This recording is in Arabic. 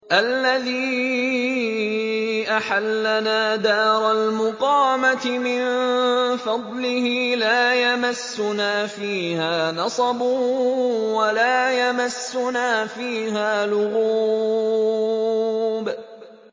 الَّذِي أَحَلَّنَا دَارَ الْمُقَامَةِ مِن فَضْلِهِ لَا يَمَسُّنَا فِيهَا نَصَبٌ وَلَا يَمَسُّنَا فِيهَا لُغُوبٌ